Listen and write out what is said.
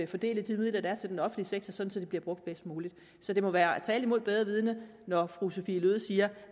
fordele de midler der er til den offentlige sektor sådan bliver brugt bedst muligt så det må være tale mod bedre vidende når fru sophie løhde siger